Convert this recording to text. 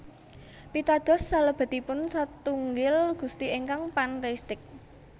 Pitados salebetipun satunggil Gusti ingkang pantheistik